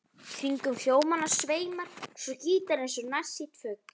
Kringum hljómana sveimar svo gítarinn eins og nærsýnn fugl.